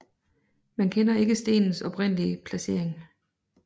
Man kender ikke stenens oprindelige placering